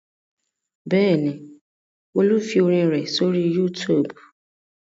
Bẹ́ẹ̀ ni, Olú fi orin rẹ̀ sórí YouTube.